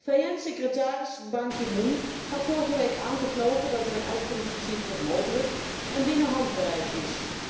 VN secretaris Ban Ki Moon gaf vorige week aan te geloven dat er een uitkomst voor Cyprus mogelijk en binnen handbereik is.